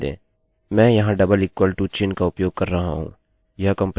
दूसरे ट्यूटोरियल में हम ऑपरेटर्स के बारे में सीखेंगे